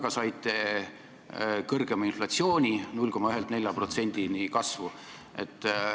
Ka saite kõrgema inflatsiooni: kasvu 0,1%-lt 4%-ni.